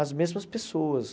as mesmas pessoas.